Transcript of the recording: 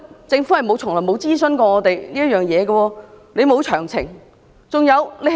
政府從沒諮詢過我們，也沒有提供詳情。